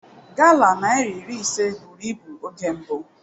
Gala naira iri ise buru ibu oge mbụ.